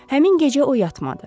Həmin gecə o yatmadı.